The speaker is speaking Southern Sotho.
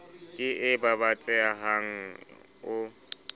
ke e ba batsehang o